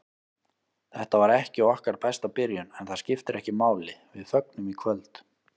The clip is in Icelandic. Þetta var ekki okkar besta byrjun, en það skiptir ekki máli, við fögnum í kvöld.